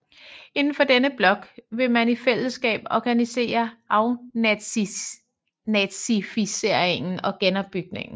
Indenfor denne blok ville man i fællesskab organisere afnazificeringen og genopbygningen